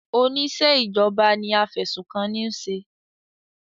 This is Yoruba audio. Oníṣẹ́ ìjọba ni afẹ̀sùnkanni ń ṣe.